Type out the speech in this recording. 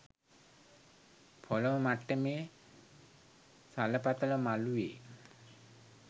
පොළොව මට්ටමේ සලපතල මළුවේ